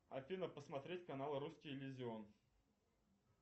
афина посмотреть канал русский иллюзион